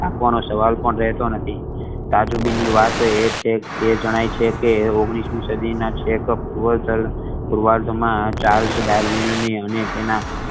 રાખવાનો સવાલ પણ રહેતો નથી બીજી વાત એ જણાય છે કે ઓગણીશ મી સદી ના પૂર્વાધ માં